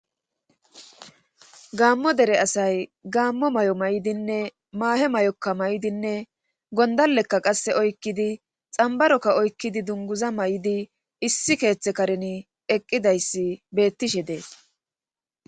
Gaammo dere asay gaammo may'o may'dinne maahe may'oka may'idinne gondallekka qasse oykkidi xambarokka oykkidi dunguza may'idi issi keeththe kareni eqqidayssi bettishe dees.